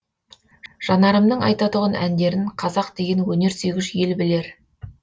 жанарымның айтатұғын әндерін қазақ деген өнер сүйгіш ел білер